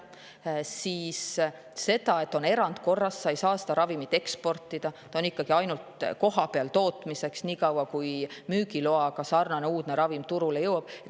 Isegi kui on erandkorras, ei saa sa seda ravimit eksportida, sest see on mõeldud ainult kohapeal tootmiseks, seda nii kauaks, kuni turule jõuab sarnane uudne müügiloaga ravim.